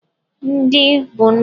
Nri bụ ndụ.